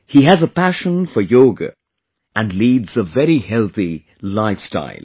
He has a passion for yoga and leads a very healthy lifestyle